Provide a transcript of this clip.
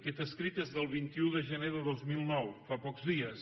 aquest escrit és del vint un de gener de dos mil nou fa pocs dies